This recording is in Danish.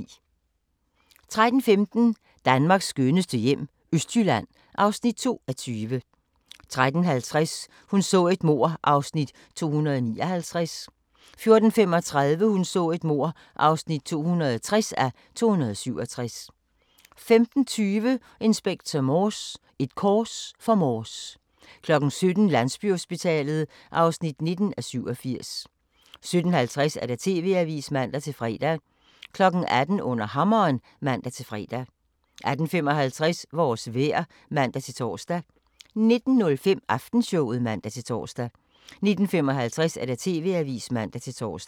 13:15: Danmarks skønneste hjem - Østjylland (2:20) 13:50: Hun så et mord (259:267) 14:35: Hun så et mord (260:267) 15:20: Inspector Morse: Et kors for Morse 17:00: Landsbyhospitalet (19:87) 17:50: TV-avisen (man-fre) 18:00: Under hammeren (man-fre) 18:55: Vores vejr (man-tor) 19:05: Aftenshowet (man-tor) 19:55: TV-avisen (man-tor)